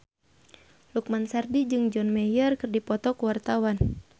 Lukman Sardi jeung John Mayer keur dipoto ku wartawan